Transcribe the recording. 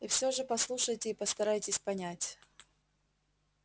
и все же послушайте и постарайтесь понять